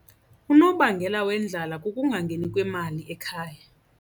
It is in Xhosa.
Unobangela wendlala kukungangeni kwemali ekhaya.